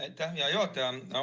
Aitäh, hea juhataja!